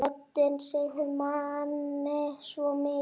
Röddin segir manni svo mikið.